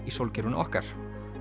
í sólkerfinu okkar